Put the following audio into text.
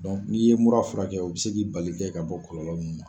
n'i ye mura furakɛ o bɛ se k'i bali ki kɛ ka bɔ kɔlɔlɔw nunnu ma.